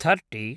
thirty